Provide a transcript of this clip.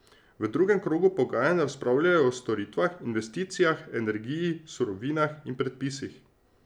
V drugem krogu pogajanj razpravljajo o storitvah, investicijah, energiji, surovinah in predpisih.